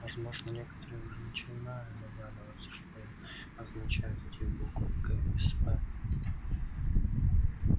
возможно некоторые уже начинают догадываться что означают эти буквы ксп